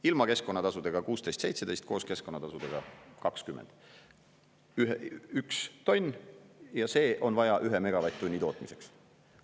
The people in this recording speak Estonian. Ilma keskkonnatasudeta 16–17 eurot, koos keskkonnatasudega 20 eurot, 1 tonn ja see on vaja ühe megavatt-tunni tootmiseks.